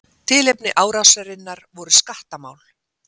Tilefni árásarinnar voru skattamál.